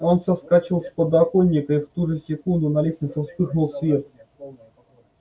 он соскочил с подоконника и в ту же секунду на лестнице вспыхнул свет